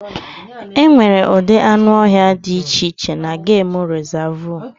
E nwere ụdị anụ ọhịa di iche iche na gemụ rizavụ.